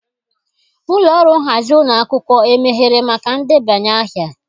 Ụlọ ọrụ nhazi ụlọ akwụkwọ emeghere maka ndebanye aha?